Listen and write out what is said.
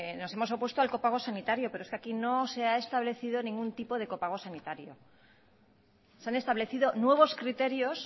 nos hemos opuesto al copago sanitario pero es que aquí no se ha establecido ningún tipo de copago sanitario se han establecido nuevos criterios